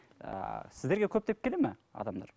ы сіздерге көптеп келе ме адамдар